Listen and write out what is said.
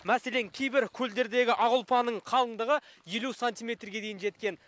мәселен кейбір көлдердегі ақ ұлпаның қалыңдығы елу сантиметрге дейін жеткен